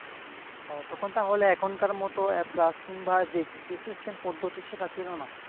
ও তখন তাহলে এখনকার মতো এ প্লাস কিংবা যেই জিপিএ সিস্টেম পদ্ধতি সেটা ছিল না